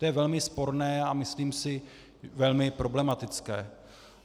To je velmi sporné a myslím si velmi problematické.